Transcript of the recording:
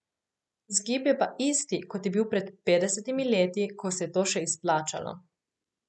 Vzgib je pa isti, kot je bil pred petdesetimi leti, ko se je to še izplačalo.